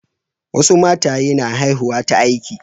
Wasu mataye na haihuwa ta aiki.